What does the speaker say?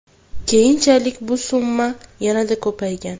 Keyinchalik bu summa yanada ko‘paygan.